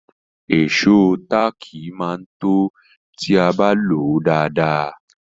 Ìṣó táàkì máa tó ti a bá lòó dáadáa.